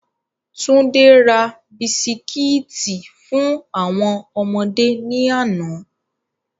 Túndé ra Bisikíìtì fún àwọn ọmọdé ní àná.